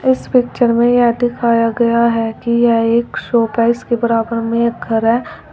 इस पिक्चर में यह दिखाया गया है कि यह एक के बराबर में एक घर है।